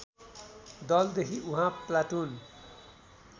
दलदेखि उहाँ प्लाटुन